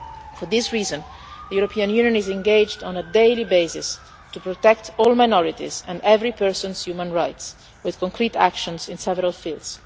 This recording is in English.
For this reason, the European Union is engaged on a daily basis to protect all minorities and every person's human rights with concrete actions in several fields.